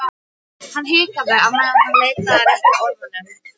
Hann hikaði á meðan hann leitaði að réttu orðunum.